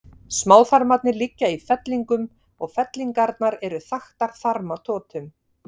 Smáþarmarnir liggja í fellingum og fellingarnar eru þaktar þarmatotum.